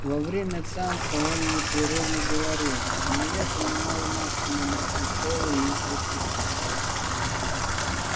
во время танца он непрерывно говорил но я понимала максимум одно слово из двадцати